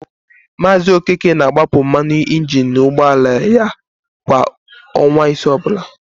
Maazị Okeke na-agbapụ mmanụ injini n'ụgbọala ya kwa ọnwa isii ọbụla.